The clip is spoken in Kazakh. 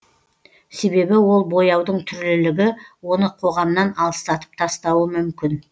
себебі ол бояудың түрлілігі оны қоғамнан алыстатып тастауы мүмкін